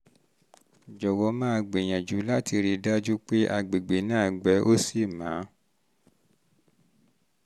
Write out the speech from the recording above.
jọ̀wọ́ máa gbìyànjú láti rí gbìyànjú láti rí i dájú pé àgbègbè náà gbẹ ó sì mọ́